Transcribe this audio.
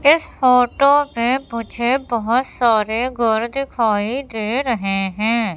इस फोटो में मुझे बहुत सारे घर दिखाई दे रहे हैं।